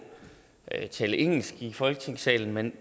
tale engelsk i folketingssalen men